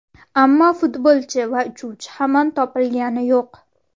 Ammo futbolchi va uchuvchi hamon topilgani yo‘q.